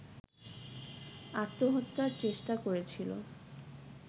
আত্মহত্যার চেষ্টা করেছিল